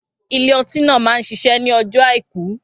Ilé ọtí náà máa ń ṣiṣẹ́ ní ọjọ́ àìkú